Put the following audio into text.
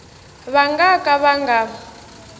va nga ka va nga